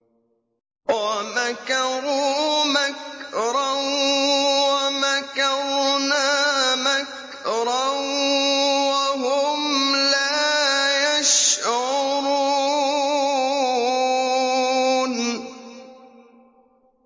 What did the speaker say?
وَمَكَرُوا مَكْرًا وَمَكَرْنَا مَكْرًا وَهُمْ لَا يَشْعُرُونَ